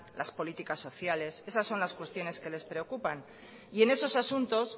las políticas sociales esas son las cuestiones que les preocupan y en esos asuntos